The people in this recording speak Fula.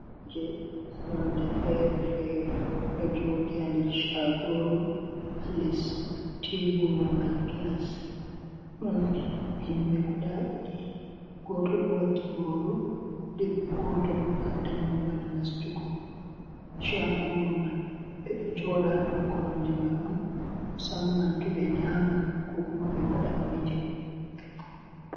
Kuje nonde fere-fere ɗo joɗi ha nder shagoru hallis teɓurwa ngal gilas, ɗon himɓe guda ɗiɗi goto ɗo wakki boro, debbo goto bo ɗo ha dammugal nastugo shagoru man, ɓeɗo joɗa ha dow koromje mai on mu samman to ɓe nyaman kokuma to ɓe waɗan mitin.